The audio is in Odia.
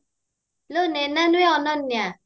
ଲୋ ନେଇନା ନୁହେଁ ଅନନ୍ୟା